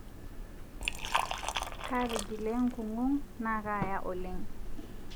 Kaatigile nkung'u naa kaaya oleng